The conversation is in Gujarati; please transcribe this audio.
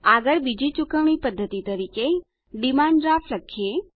આગળબીજી ચુકવણી પદ્ધતિ તરીકે ડિમાન્ડ ડ્રાફ્ટ લખીએ